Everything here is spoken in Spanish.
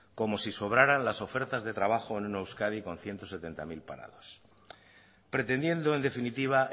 como si sobraran las ofertas de trabajo en una euskadi con ciento setenta mil parados pretendiendo en definitiva